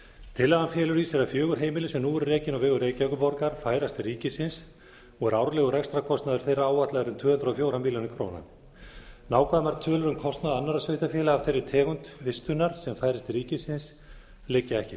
tillagan felur í sér að fjögur heimili sem nú eru rekin á vegum reykjavíkurborgar færast til ríkisins og er árlegur rekstrarkostnaður þeirra áætlaður um tvö hundruð og fjórar milljónir króna nákvæmar tölur um kostnað annarra sveitarfélaga af þeirri tegund vistunar sem færist til ríkisins liggja ekki